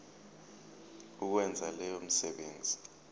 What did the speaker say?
ukwenza leyo misebenzi